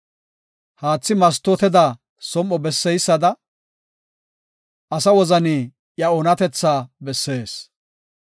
Haathi mastooteda som7o besseysada, asa wozani iya oonatetha bessees.